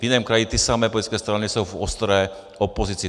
V jiném kraji ty samé politické strany jsou v ostré opozici.